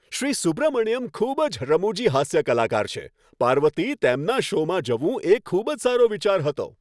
શ્રી સુબ્રમણ્યમ ખૂબ જ રમૂજી હાસ્ય કલાકાર છે. પાર્વતી, તેમના શોમાં જવું એ ખૂબ જ સારો વિચાર હતો.